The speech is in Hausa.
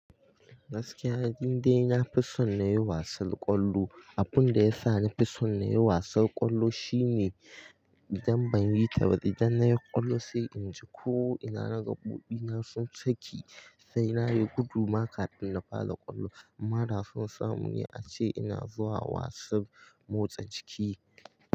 Gaskiya, inde na fi son na yi wasan ƙwallo. Abun da ya sa ni fi son na yi wasan ƙwallo shine idan ban yi ta ba idan na yi ƙwallo sai in ji ko ina na ga ƙofina sun saki. Sai na yi guduma kafin na fara ƙwallo. Mara sun samu ni a ce ina zuwa wasan motsa jiki.